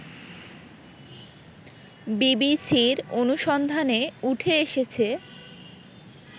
বিবিসির অনুসন্ধানে উঠে এসেছে